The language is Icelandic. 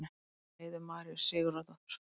eftir heiðu maríu sigurðardóttur